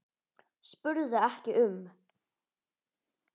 spurði ekki um